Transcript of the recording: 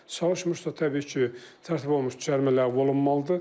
Çalışmırsa, təbii ki, tərtib olunmuş cərimə ləğv olunmalıdır.